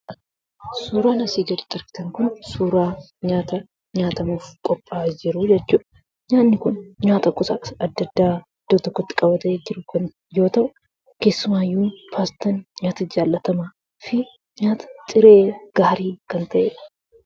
Suuraan asii gaditti argitan kun suuraa nyaata nyaatamuuf qophaa'e jiru jechuudha. Nyaanni kun nyaata gosa adda addaa iddoo tokkotti qabate jiru kun yoo ta'u keessumaayyuu paastaan, nyaata jaalatamaa fi nyaata ciree gaarii kan ta'edha.